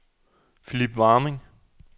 Philip Warming